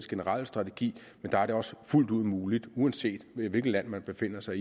generelle strategi men der er det også fuldt ud muligt uanset hvilket land folk befinder sig